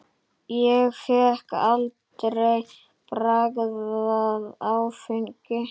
Ég hef aldrei bragðað áfengi.